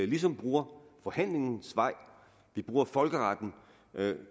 ligesom bruger forhandlingens vej vi bruger folkeretten